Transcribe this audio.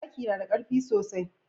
zaki nada karfi sosai